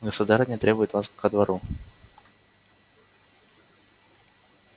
государыня требует вас ко двору